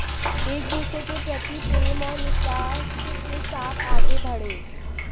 एक दूसरे के प्रति प्रेम और विश्वास के साथ आगे बढ़ें